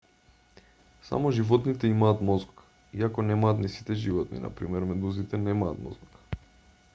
само животните имаат мозок иако немаат ни сите животни; на пример медузите немаат мозок